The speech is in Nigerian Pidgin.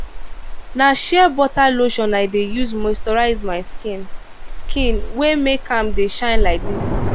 na sheerbutter lotion i dey use moisturize my skin skin wey make am dey shine like dis.